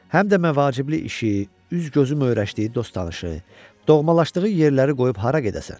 Həm də məvaciblik işi, üz-gözü möhrəşdiyi dost-tanışı, doğmalaşdığı yerləri qoyub hara gedəsən?